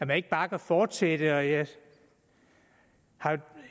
man ikke bare kan fortsætte jeg har